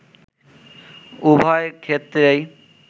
উভয় ক্ষেত্রেই